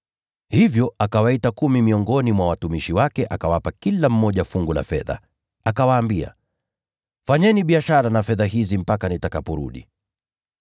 Hivyo akawaita kumi miongoni mwa watumishi wake, na akawapa kila mmoja fungu la fedha. Akawaambia, ‘Fanyeni biashara na fedha hizi mpaka nitakaporudi.’